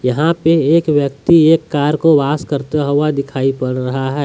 यहां पे एक व्यक्ति एक कार को वाश करते हुए दिखाई पड़ रहा है।